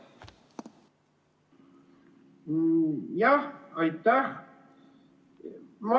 Jah, aitäh!